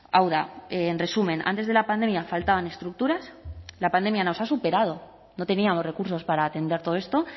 hau da en resumen antes de la pandemia faltaban estructuras la pandemia nos ha superado no teníamos recursos para atender todo esto